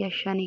yashshanne!